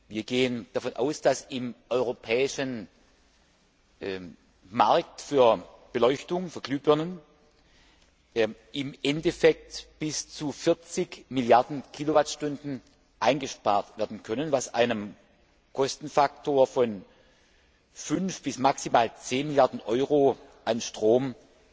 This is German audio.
Wir gehen davon aus, dass im europäischen Markt für Beleuchtung, für Glühbirnen, im Endeffekt bis zu 40 Milliarden Kilowattstunden eingespart werden können, was einem Kostenfaktor von fünf bis maximal zehn Milliarden Euro an Stromkosten